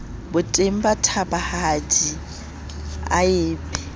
botebong ba thabahadi a epe